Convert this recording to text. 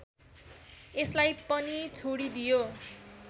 यसलाई पनि छोडिदियो